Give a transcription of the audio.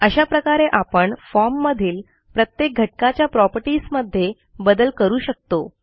अशा प्रकारे आपण फॉर्म मधील प्रत्येक घटकाच्या प्रॉपर्टीज मध्ये बदल करू शकतो